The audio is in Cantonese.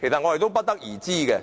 我們不得而知。